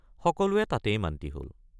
সকলোৱে তাতেই মান্তি হল।